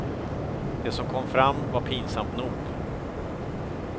Det som kom fram var pinsamt nog.